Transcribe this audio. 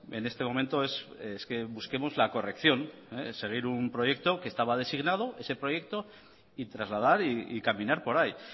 en este momento es que busquemos la corrección seguir un proyecto que estaba designado ese proyecto y trasladar y caminar por ahí